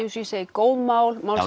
góð mál mál